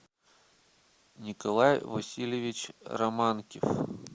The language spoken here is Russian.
николай васильевич романкив